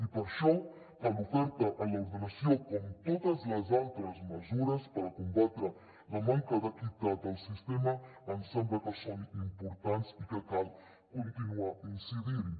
i per això tant l’oferta en l’ordenació com totes les altres mesures per combatre la manca d’equitat del sistema ens sembla que són importants i que cal continuar incidint hi